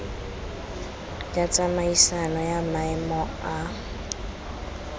ya tsamaisano ya maemo a